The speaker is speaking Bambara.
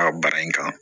A baara in kan